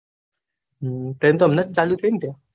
train તો હમણાજ ચાલુ થય ને તય